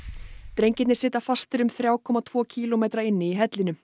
drengirnir sitja fastir um þrjá komma tvo kílómetra inni í hellinum